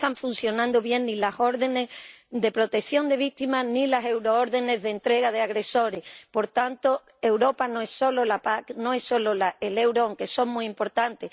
No están funcionando bien ni las órdenes de protección de víctimas ni las euroórdenes de entrega de agresores. Por tanto, Europa no es solo la PAC, no es solo el euro, aunque son muy importantes